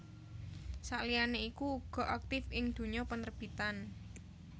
Sakliyane iku uga aktif ing dunya penerbitan